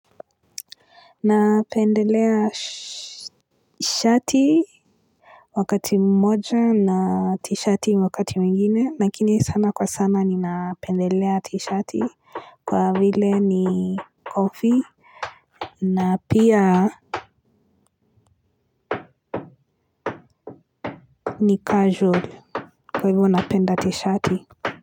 Napendelea shati wakati mmoja na tishati wakati mwingine lakini sana kwa sana napendelea tishati kwa vile ni comfy na pia ni casual. Kwa hivyo napenda tishati.